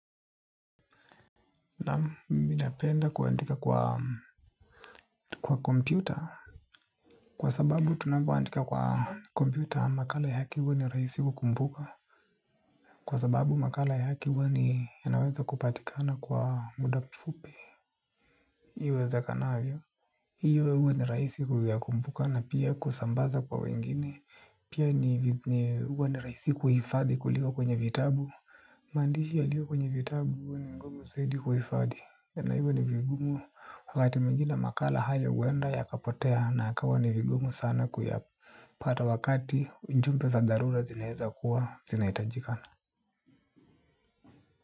Naam mimi napenda kuandika kwa kompyuta kwa sababu tunapoandika kwa kompyuta makala yake huwa ni rahisi kukumbuka kwa sababu makala yake huwa ni yanaweza kupatikana kwa muda mfupi. Iwezekanavyo hivyo huwa ni rahisi kuyakumbuka na pia kusambaza kwa wengine. Pia huwa ni rahisi kuhifadhi kuliko kwenye vitabu. Maandishi yaliyo kwenye vitabu huwa ni ngumu zaidi kuhifadi na hivyo ni vigumu wakati mwingine makala hayo huenda yakapotea na ikawa ni vigumu sana kuyapata wakati ujumbe za dharura zinaweza kuwa zinahitajikana.